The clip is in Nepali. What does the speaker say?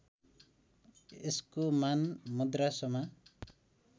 यसको मान मद्रासमा